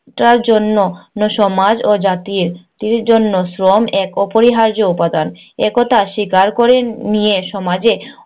জন্য, সমাজ ও জাতির জাতির জন্য শ্রম এক অপরিহার্য উপাদান। একথা স্বীকার করে নিয়ে সমাজে